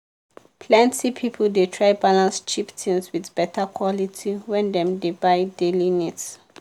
plenty people dey try balance cheap things with better quality when dem dey buy daily needs.